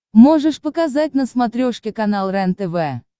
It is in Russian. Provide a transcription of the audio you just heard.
можешь показать на смотрешке канал рентв